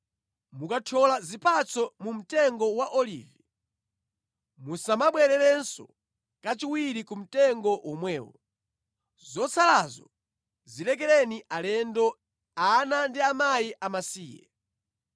Mukathyola zipatso mu mtengo wa olivi, musamabwererenso kachiwiri ku mtengo womwewo. Zotsalazo zilekereni alendo, ana ndi akazi amasiye.